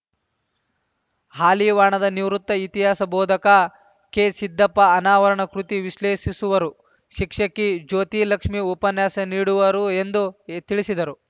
ಹಾಲಿವಾಣದ ನಿವೃತ್ತ ಇತಿಹಾಸ ಬೋಧಕ ಕೆಸಿದ್ದಪ್ಪ ಅನಾವರಕಣ ಕೃತಿ ವಿಶ್ಲೇಷಿಸುವರು ಶಿಕ್ಷಕಿ ಜ್ಯೋತಿಲಕ್ಷ್ಮಿ ಉಪನ್ಯಾಸ ನೀಡುವರು ಎಂದು ತಿಳಿಸಿದರು